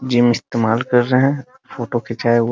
Gym इस्तमाल कर रहे हैं फोटो खिचाया हुआ।